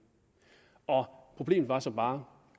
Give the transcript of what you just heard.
problemet var så bare